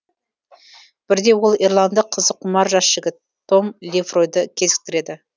бірде ол ирландық қызыққұмар жас жігіт том лефройды кезіктіреді